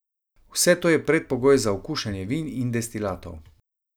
Vse to je predpogoj za okušanje vin in destilatov.